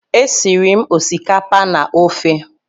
E siri m osikapa na ofe.